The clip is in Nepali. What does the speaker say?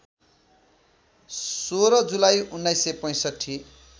१६ जुलाई १९६५